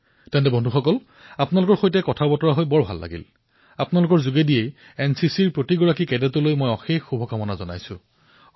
ঠিক আছে বন্ধুসকল আপোনালোকৰ সৈতে কথা পাতি খুউব সন্তোষ পালো আৰু আপোনালোকৰ জৰিয়তে এনচিচিৰ সকলো কেডেটক অশেষ শুভকামনা যাচিছো